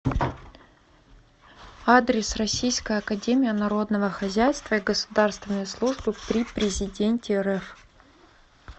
адрес российская академия народного хозяйства и государственной службы при президенте рф